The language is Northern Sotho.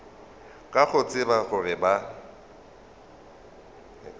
ka go tseba gore ba